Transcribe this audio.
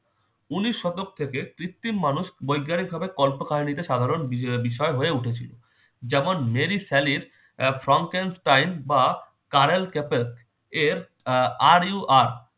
উনিশ শতক থেকে কৃত্রিম মানুষ বৈজ্ঞানিকভাবে কল্পকাহিনীতে সাধারণ বিষ~ বিষয় হয়ে উঠেছিল। যেমন- মেরি স্যালির আহ from can style বা কারেল ক্যাপের আহ are you are